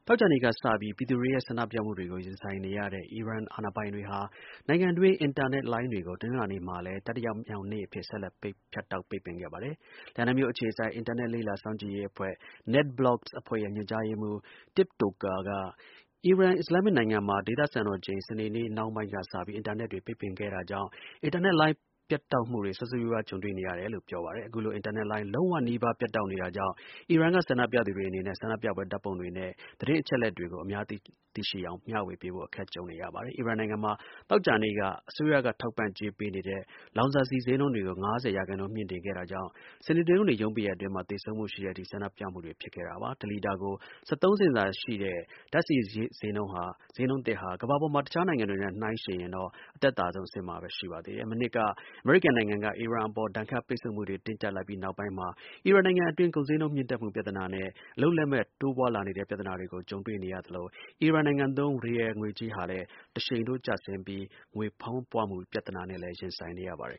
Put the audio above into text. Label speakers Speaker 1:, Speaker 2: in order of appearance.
Speaker 1: ောကြာနေ့က စပြီး ပြည်သူတွေရဲ့ ဆန္ဒပြမှုတွေကို ရင်ဆိုင်နေရတဲ့ အီရန် အာဏာပိုင်တွေဟာ နိုင်ငံတွင်း အင်တာနက်လိုင်းတွေကို တနင်္လာနေ့မှာလည်း တတိယမြောက်နေ့အဖြစ် ဆက်လက် ဖြတ်တောက် ပိတ်ပင် ခဲ့ပါတယ်။ လန်ဒန်မြို့ အခြေစိုက် အင်တာနက် လေ့လာစောင့်ကြည်ရေး အဖွဲ့ NetBlocks အဖွဲ့ရဲ့ ညွှန်ကြားရေးမှူး Tlp Toker အီရန် အစ္စလာမ်မစ် နိုင်ငံမှာ ဒေသစံတော်ချိန် စနေနေ့ နှောင်းပိုင်း စပြီး အင်တာနက်တွေ ပိတ်ပင်ခဲ့တာကြောင့် အင်တာနက်လိုင်း ပြတ်တောက်မှုတွေ ဆိုးဆိုးရွားရွား ကြုံတွေ့နေရတယ်လို့ ပြောပါတယ်။ အခုလို အင်တာနက်လိုင်း လုံးဝနီးပါး ပြတ်တောက်နေတာကြောင့် အီရန်က ဆန္ဒပြသူတွေ အနေနဲ့ ဆန္ဒပြပွဲ ဓါတ်ပုံတွေနဲ့ သတင်း အချက်အလက် တွေကို အများ သိရှိအောင် မျှဝေပေးဖို့ အခက်ကြုံနေရပါတယ်။ အီရန်နိုင်ငံမှာ သောကြာနေ့က အစိုးရ ထောက်ပံ့ကြေး ပေးနေတဲ့ လောင်စာဆီဈေးနှုန်းကို ၅၀ ရာခိုင်နှုန်း မြှင့်တင်ခဲ့တာကြောင်း စနေ၊ တနင်္ဂနွေရုံးပိတ်ရက်အတွင်း သေဆုံးမှုတဲ့ရှိတဲ့အထိ ဆန္ဒပြပွဲတွေဖြစ်ခဲ့ပါတယ်။ တစ်လီတာကို ၁၃ ဆင့်သာရှိတဲ့ ဓါတ်ဆီ ဈေးနှုန်း သစ်ဟာ ကမ္ဘာပေါ်က တစ်ခြား နိုင်ငံတွေမှာ ရှိတဲ့ ဈေးနှုန်းတွေနဲ့ နှိုင်းယှဉ်ရင်တော့ အသက်သာဆုံး အဆင့်မှာပဲ ရှိပါသေးတယ်။ မနှစ်က အမေရိကန်နိုင်ငံက အီရန်အပေါ် ဒဏ်ခတ်ပိတ်ဆို့မှုတွေ တင်းကျပ်လိုက်ပြီး နောက်ပိုင်းမှာ အီရန် နိုင်ငံအတွင်း ကုန်ဈေးနှုန်း မြင့်တက်မှု ပြဿနာနဲ့ အလုပ်လက်မဲ့ တိုးပွားလာနေတဲ့ ပြဿနာတွေကို ကြုံတွေ့နေရသလို အီရန်နိုင်ငံသုံး Rial ငွေကြေးဟာလည်း တစ်ရှိန်ထိုး ကျဆင်းပြီး ငွေဖောင်းပွမှု ပြဿနာနဲ့လည်း ရင်ဆိုင်နေရပါတယ်